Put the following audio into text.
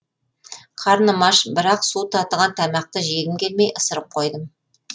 қарным аш бірақ су татыған тамақты жегім келмей ысырып қойдым